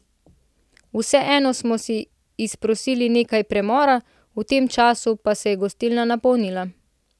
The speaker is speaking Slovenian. Vseeno smo si izprosili nekaj premora, v tem času pa se je gostilna napolnila.